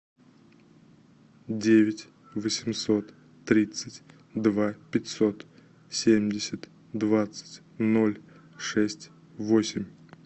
девять восемьсот тридцать два пятьсот семьдесят двадцать ноль шесть восемь